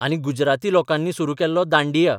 आनी गुजराती लोकांनी सुरू केल्लो दांडिया.